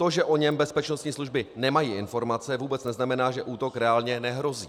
To, že o něm bezpečnostní služby nemají informace, vůbec neznamená, že útok reálně nehrozí.